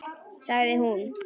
Sagði hún.